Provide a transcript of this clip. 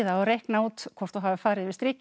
og reikna út hvort þú hafir farið yfir strikið